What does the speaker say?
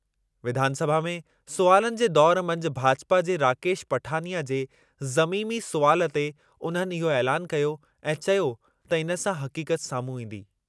विधानसभा में सुवालनि जे दौरु मंझि भाजपा जे राकेश पठानिया जे ज़मीमी सुवालु ते उन्हनि इहो ऐलानु कयो ऐं चयो त इन सां हक़ीक़त साम्हूं ईंदी।